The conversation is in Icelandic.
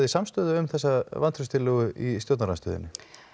samstöðu um þessa vantrauststillögu í stjórnarandstöðunni